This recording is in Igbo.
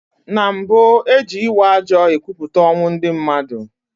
Na mbu, e ji ịwa ajo ekwupụta ọnwụ ndị mmadụ.